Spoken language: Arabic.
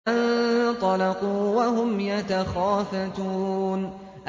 فَانطَلَقُوا وَهُمْ يَتَخَافَتُونَ